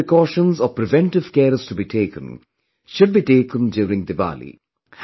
Whatever precautions or preventive care is to be taken, should be taken during Diwali